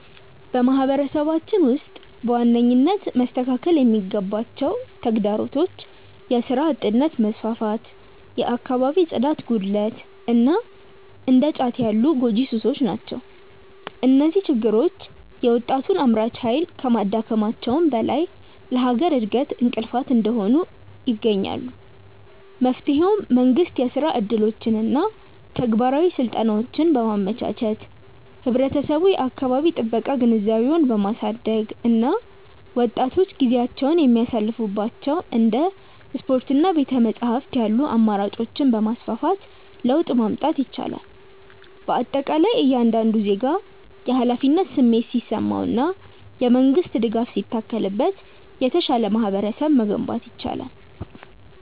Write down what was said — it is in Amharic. በማህበረሰባችን ውስጥ በዋነኝነት መስተካከል ያለባቸው ተግዳሮቶች የሥራ አጥነት መስፋፋት፣ የአካባቢ ጽዳት ጉድለት እና እንደ ጫት ያሉ ጎጂ ሱሶች ናቸው። እነዚህ ችግሮች የወጣቱን አምራች ኃይል ከማዳከማቸውም በላይ ለሀገር እድገት እንቅፋት እየሆኑ ይገኛሉ። መፍትሄውም መንግስት የሥራ ዕድሎችንና ተግባራዊ ስልጠናዎችን በማመቻቸት፣ ህብረተሰቡ የአካባቢ ጥበቃ ግንዛቤውን በማሳደግ እና ወጣቶች ጊዜያቸውን የሚያሳልፉባቸው እንደ ስፖርትና ቤተ-መጻሕፍት ያሉ አማራጮችን በማስፋፋት ለውጥ ማምጣት ይቻላል። በአጠቃላይ እያንዳንዱ ዜጋ የኃላፊነት ስሜት ሲሰማውና የመንግስት ድጋፍ ሲታከልበት የተሻለ ማህበረሰብ መገንባት ይቻላል።